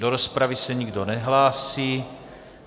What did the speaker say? Do rozpravy se nikdo nehlásí.